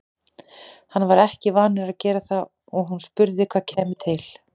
Hann var ekki vanur að gera það og hún spurði hvað kæmi til.